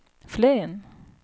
Flen